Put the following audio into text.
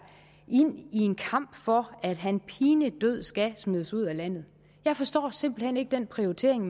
ind i en kamp for at han pinedød skal smides ud af landet jeg forstår simpelt hen ikke den prioritering